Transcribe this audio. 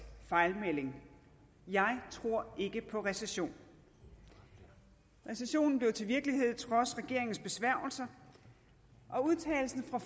fejlmelding jeg tror ikke på recession recessionen blev til virkelighed trods regeringens besværgelser og udtalelsen fra